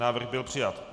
Návrh byl přijat.